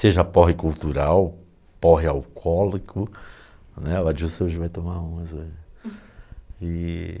Seja porre cultural, porre alcoólico né, o Adilson já vai tomar umas né. E